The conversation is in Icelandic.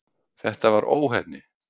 Þetta var óheppni.